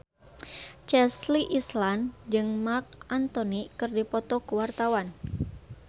Chelsea Islan jeung Marc Anthony keur dipoto ku wartawan